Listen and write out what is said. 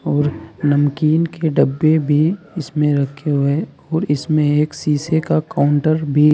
और नमकीन के डब्बे भी इसमें रखे हुए है और इसमें शीशे का काउंटर भी--